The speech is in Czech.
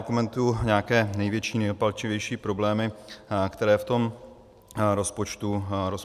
Okomentuji nějaké největší, nejpalčivější problémy, které v tom rozpočtu vidím.